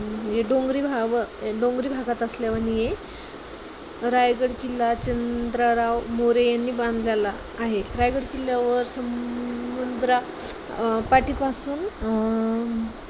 अं हे डोंगरी भाग डोंगरी भागात असल्यावांनी आहे. रायगड किल्ला चंद्रराव मोरे यांनी बांधलेला आहे. रायगड किल्लावर स मुद्रा अं सपाटीपासून अं